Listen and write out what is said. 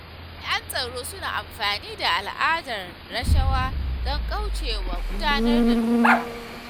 Jami'an tsaro suna amfani da al'adar rashawa don kauce wa gudanar da doka.